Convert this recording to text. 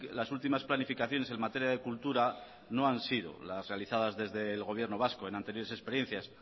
las últimas planificaciones en materia de cultura no han sido las realizadas desde el gobierno vasco en anteriores experiencias